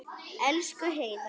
Elsku Heiðar.